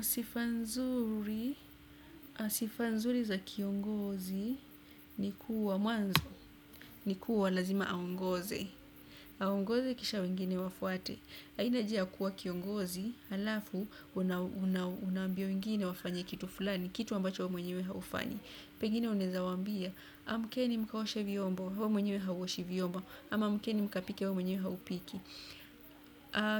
Sifa nzuri, sifa nzuri za kiongozi ni kuwa mwanzo, ni kuwa lazima aongoze. Aongoze, kisha wengine wafuate. Haina haja ya kuwa kiongozi alafu una una wa ambia wengine wafanye kitu fulani, kitu ambacho wewe mwenyewe haufanyi. Pegine una weza wa ambia, amkeni mkaoshe vyombo, wewe mwenyewe hauoshi vyombo, ama amkeni mkapike wewe mwenyewe haupiki.